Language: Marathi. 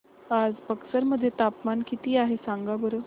आज बक्सर मध्ये तापमान किती आहे सांगा बरं